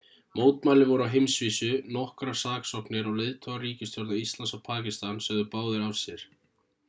mótmæli voru á heimsvísu nokkrar saksóknir og leiðtogar ríkisstjórna íslands og pakistan sögðu báðir af sér